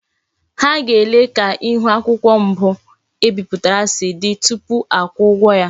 Ha ga-ele ka ihu akwukwo mbu ebiputara si di tupu akwuo ugwo.